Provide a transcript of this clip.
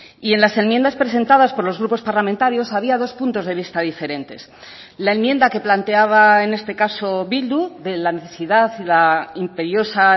y en las enmiendas presentadas por los grupos parlamentarios había dos puntos de vista diferentes la enmienda que planteaba en este caso bildu de la necesidad y la imperiosa